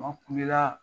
Maa kule la